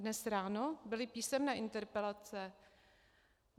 Dnes ráno byly písemné interpelace.